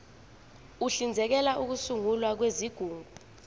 uhlinzekela ukusungulwa kwezigungu